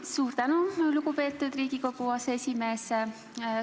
Suur tänu, lugupeetud Riigikogu aseesimees!